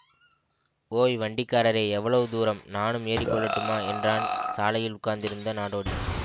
ஓய் வண்டிக்காரரே எவ்வளவு தூரம் நானும் ஏறிக்கொள்ளட்டுமா என்றான் சாலையில் உட்கார்ந்திருந்த நாடோடி